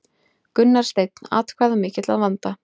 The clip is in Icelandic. Gunnar Steinn atkvæðamikill að vanda